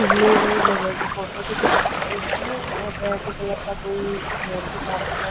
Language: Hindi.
ये कोई जगह की फोटो दिखा रखी है और रेड कलर का कोई घर रखा है।